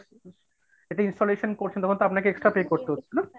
এটা installation করছেন যখন তো আপনাকে extra pay করতে হচ্ছে না।